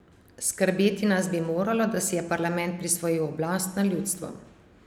Skrbeti nas bi moralo, da si je parlament prisvojil oblast nad ljudstvom.